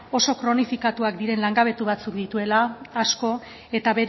oso kronifikatuak diren langabetu batzuk dituela asko eta